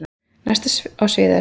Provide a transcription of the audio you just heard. Næst á svið er.